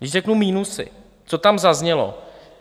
Když řeknu minusy, co tam zaznělo?